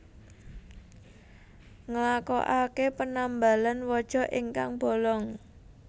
Nglakoake penambalan waja ingkang bolong